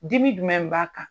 Dimi jumɛn b'a kan?